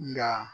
Nka